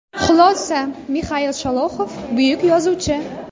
Xulosa Mixail Sholoxov buyuk yozuvchi.